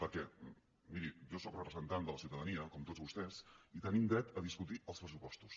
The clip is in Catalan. perquè miri jo sóc representant de la ciutadania com tots vostès i tenim dret a discutir els pressupostos